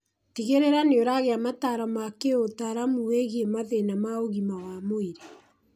Tigĩrĩra nĩũragia mataro ma kĩũtaramu wĩgiĩ mathĩna ma ũgima wa mwĩrĩ